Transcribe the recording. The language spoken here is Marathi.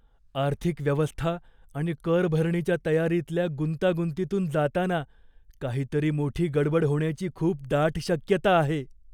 आर्थिक व्यवस्था आणि करभरणीच्या तयारीतल्या गुंतागुंतीतून जाताना काहीतरी मोठी गडबड होण्याची खूप दाट शक्यता आहे.